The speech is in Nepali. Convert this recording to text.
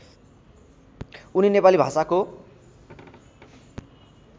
उनी नेपाली भाषाको